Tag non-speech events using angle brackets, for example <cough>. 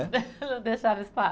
<laughs> Não deixaram espaço.